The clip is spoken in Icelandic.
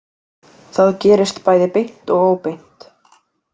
Það gerist bæði beint og óbeint.